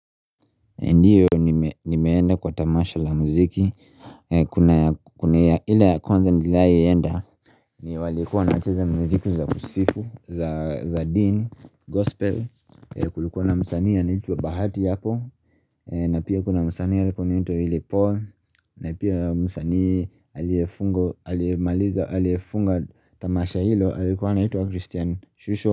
Ndio nimeenda kwa tamasha la muziki. Kuna ile ya kwanza niliwahi enda. Ni walikuwa waacheza muziki za kusifu, za dini, gospel. Kulikuwa na msanii anaitwa bahati hapo na pia kuna msanii alikuwa anaitwa Willy Paul Na pia msanii aliyefunga aliyemaliza aliyefunga tamasha hilo alikuwa anaitwa Christian Shusho.